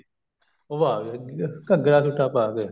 ਉਹ ਆ ਗਿਆ ਘੱਗਰਾ ਸੂਤ ਦਾ ਪਾਕੇ